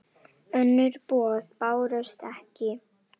Önnur boð bárust ekki.